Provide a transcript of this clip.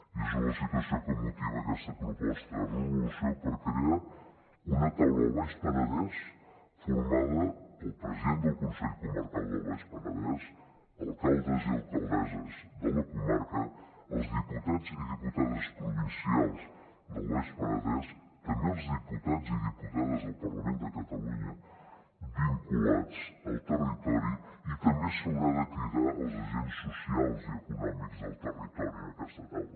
i és la situació que motiva aquesta proposta de resolució per crear una taula del baix penedès formada pel president del consell comarcal del baix penedès alcaldes i alcaldesses de la comarca els diputats i diputades provincials del baix penedès també els diputats i diputades del parlament de catalunya vinculats al territori i també s’haurà de cridar els agents socials i econòmics del territori en aquesta taula